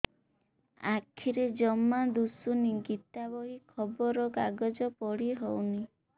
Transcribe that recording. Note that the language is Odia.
ଆଖିରେ ଜମା ଦୁଶୁନି ଗୀତା ବହି ଖବର କାଗଜ ପଢି ହଉନି